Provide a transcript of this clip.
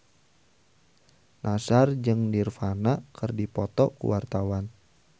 Nassar jeung Nirvana keur dipoto ku wartawan